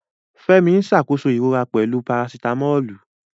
Fẹ́mi ń ṣàkóso ìrora pẹ̀lú Parasitamọ́ọ̀lù.